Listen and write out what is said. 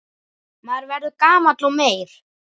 Maður verður gamall og meyr.